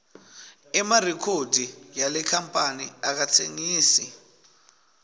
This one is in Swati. emarikhodi yale kamphani akatsengisi